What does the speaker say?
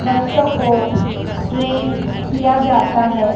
बच्चो को ट्रेन किया जाता है।